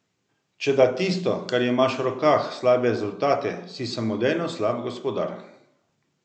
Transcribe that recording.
Če da tisto, kar imaš v rokah, slabe rezultate, si samodejno slab gospodar.